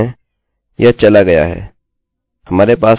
हमारे पास हमारी वेल्यू है और मैंने वहाँ क्लिक किया